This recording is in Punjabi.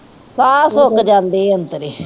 ਸਾਹ ਸੁੱਕ ਜਾਂਦੇ ਅੰਦਰੇ